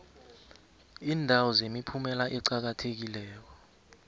iindawo zemiphumela eqakathekileko